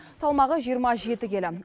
салмағы жиырма жеті келі